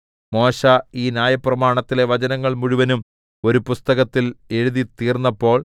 മോശെ ഈ ന്യായപ്രമാണത്തിലെ വചനങ്ങൾ മുഴുവനും ഒരു പുസ്തകത്തിൽ എഴുതിത്തീർന്നപ്പോൾ